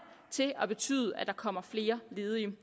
til at betyde at der kommer flere ledige